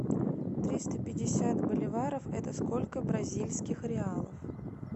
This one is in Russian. триста пятьдесят боливаров это сколько бразильских реалов